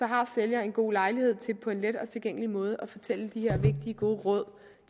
har sælgeren en god lejlighed til på en let og tilgængelig måde at fortælle de her vigtige gode råd